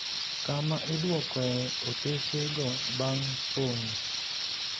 kama idwokoe otese go bang' pongo